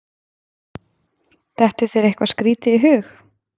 dettur þér eitthvað skrítið í hug